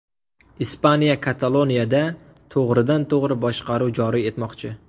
Ispaniya Kataloniyada to‘g‘ridan-to‘g‘ri boshqaruv joriy etmoqchi.